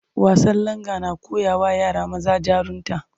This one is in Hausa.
Wasan Langa na koyawa yara maza jarunta